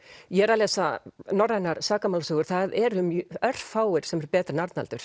ég er að lesa norrænar sakamálasögur það eru örfáir sem eru betri en Arnaldur